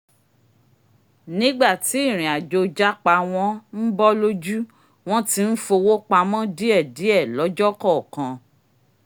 nígbà tí ìrìnàjò japa wọn ń bọ́ lójú wọ́n ti ń fowó pamọ́ díẹ̀ díẹ̀ lọ́jọ́ kọọ́kan